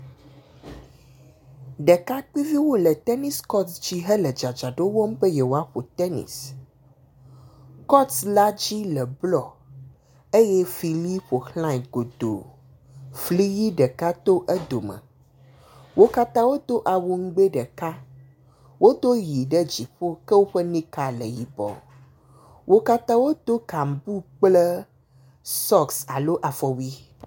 Ɖekakpuiviwo le tenisi kɔti dzi hele dzadzraɖo wɔm be yeawoaƒo tenisi. Kɔti la dzi le blɔ eye fli ʋi ƒo xlae godoo. Fli ʋi ɖeka to edome. Wo katã wodo awu nugbɛ ɖeka. Wodo ʋi ɖe dziƒo ke woƒe atakpui le yibɔ. Wo katã wodo kanbu kple afɔwui